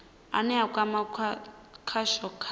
ane a kwama khasho kha